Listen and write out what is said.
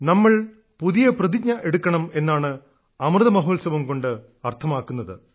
നമ്മൾ പുതിയ പ്രതിജ്ഞ എടുക്കണം എന്നതാണ് അമൃതമഹോത്സവം കൊണ്ട് അർത്ഥമാക്കുന്നത്